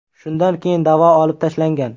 Shundan keyin da’vo olib tashlangan.